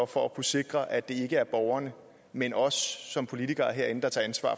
for at kunne sikre at det ikke er borgerne men os som politikere herinde der tager ansvar